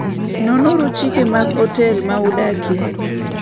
Nonuru chike mag otel ma udakie.